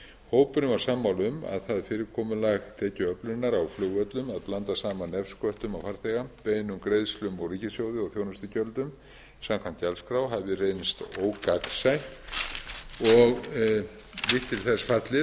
hópurinn var sammála um að það fyrirkomulag tekjuöflunar á flugvöllum að blanda saman nefsköttum á farþega beinum greiðslum úr ríkissjóði og þjónustugjöldum samkvæmt gjaldskrá hafi reynst ógagnsætt og lítt til þess fallið